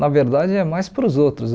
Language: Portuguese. Na verdade, é mais para os outros.